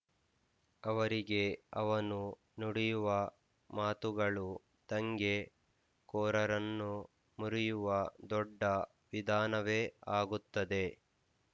ಅವರಿಗೆ ಅವನು ನುಡಿಯುವ ಮಾತುಗಳು ದಂಗೆ ಕೋರರನ್ನು ಮುರಿಯುವ ದೊಡ್ಡ ವಿಧಾನವೇ ಆಗುತ್ತದೆ